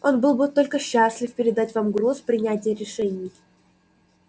он был бы только счастлив передать вам груз принятия решений